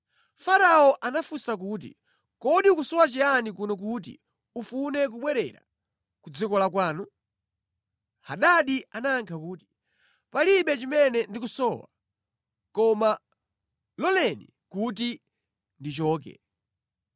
Farao anafunsa kuti, “Kodi ukusowa chiyani kuno kuti ufune kubwerera ku dziko la kwanu?” Hadadi anayankha kuti, “Palibe chimene ndikusowa, koma loleni kuti ndichoke!”